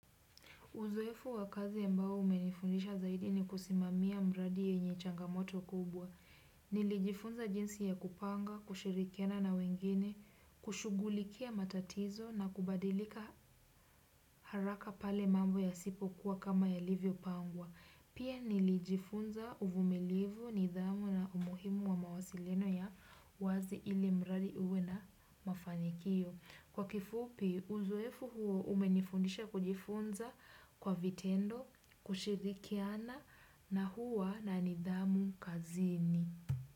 Uzoefu wa kazi ambao umenifundisha zaidi ni kusimamia mradi yenye changamoto kubwa. Nilijifunza jinsi ya kupanga, kushirikiana na wengine, kushugulikia matatizo na kubadilika haraka pale mambo yasipokuwa kama yalivyopangwa. Pia nilijifunza uvumilivu nidhamu na umuhimu wa mawasiliano ya wazi ili mradi uwe na mafanikio. Kwa kifupi, uzoefu huo umenifundisha kujifunza kwa vitendo, kushirikiana na huwa na nidhamu kazini.